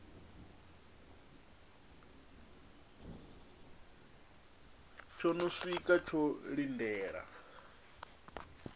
tsho no siwka tsho lindela